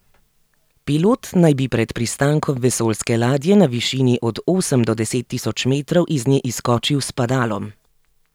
Pilot naj bi pred pristankom vesoljske ladje na višini od osem do deset tisoč metrov iz nje izskočil s padalom.